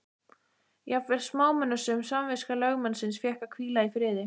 Jafnvel smámunasöm samviska lögmannsins fékk að hvíla í friði.